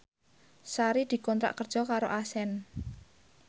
Sari dikontrak kerja karo Accent